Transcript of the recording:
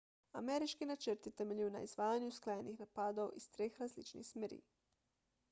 ameriški načrt je temeljil na izvajanju usklajenih napadov iz treh različnih smeri